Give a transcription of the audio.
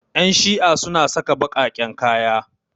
Ƴan shi'a suna saka baƙaƙen kaya.